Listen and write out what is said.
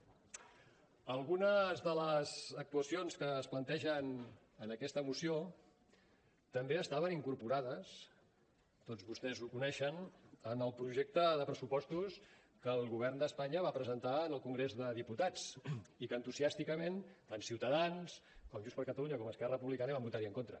algunes de les actuacions que es plantegen en aquesta moció també estaven incorporades tots vostès ho coneixen en el projecte de pressupostos que el govern d’espanya va presentar en el congrés de diputats i que entusiàsticament tant ciutadans com junts per catalunya com esquerra republicana hi van votar en contra